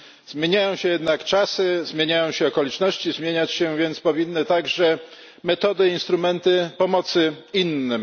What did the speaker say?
Zmieniają się jednak czasy, zmieniają się okoliczności, zmieniać się więc powinny także metody i instrumenty pomocy innym.